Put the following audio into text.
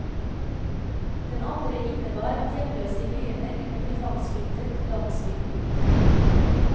Den andre innebar at hjemløse i byene kunne bli tvangsflyttet til landsbygden.